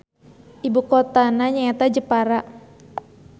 Ibukotana nyaeta Jepara.